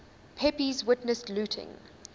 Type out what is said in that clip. pepys witnessed looting